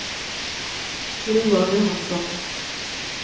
Roald Johansson